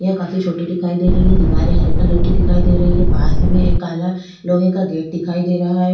यह काफी छोटी दिखाई दे रही है दीवारें हरी कलर की दिखाई दे रही है पास ही में एक काला लोहे का गेट दिखाई दे रहा हैं।